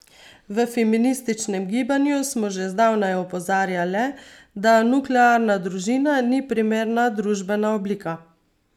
V feminističnem gibanju smo že zdavnaj opozarjale, da nuklearna družina ni primerna družbena oblika.